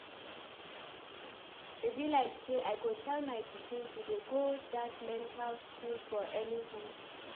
E be like say I go tell my pikin to dey go dat mental school for Enugu